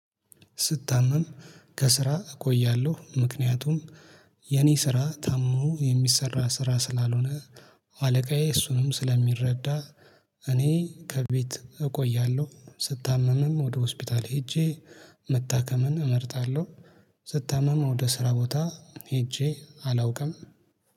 ስታመም ከስራ እቆያለሁ ምክንያቱም የኔ ስራ ታመውም የሚሰራ ስራ ስላልሆነ አለቃዬ እሱንም ስለሚረዳ እኔ ከቤት እቆያለሁ። ስታመምም ወደ ሆስፒታል ሄጄ መታከምን እመርጣለሁ። ስታመም ወደ ስራ ቦታ ሄጄ አላውቅም